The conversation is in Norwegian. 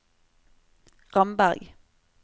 Ramberg